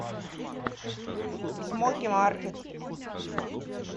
смоки маркет